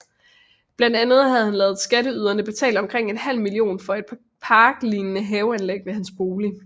Blandt andet havde han ladet skatteyderne betale omkring en halv million for et parklignede haveanlæg ved hans bolig